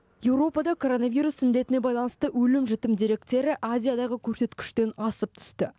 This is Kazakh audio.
еуропада коронавирус індетіне байланысты өлім жітім деректері азиядағы көрсеткіштен асып түсті